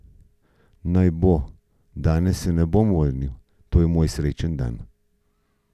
Naj bo, danes se ne bom vrnil, to je moj srečni dan!